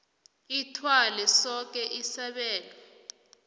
ithwale soke isabelo